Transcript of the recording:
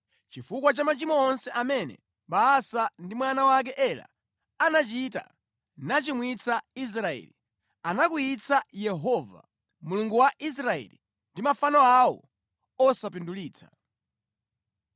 chifukwa cha machimo onse amene Baasa ndi mwana wake Ela anachita nachimwitsa Israeli, anakwiyitsa Yehova, Mulungu wa Israeli ndi mafano awo osapindulitsa.